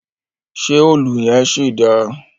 Ṣe òlù yẹn ṣì dáa?